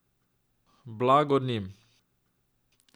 Blagor njim.